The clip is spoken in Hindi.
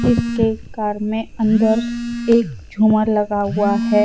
जिसके कार में अंदर एक झूमर लगा हुआ है।